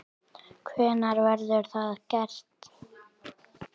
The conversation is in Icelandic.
Hvenær verður það gert?